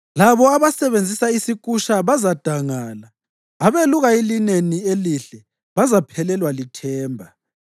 Labo abasebenzisa isikusha bazadangala, abeluka ilineni elihle bazaphelelwa lithemba.